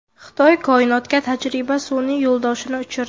Xitoy koinotga tajriba sun’iy yo‘ldoshini uchirdi.